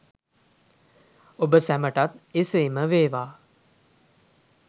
ඔබ සැමටත් එසේම වේවා!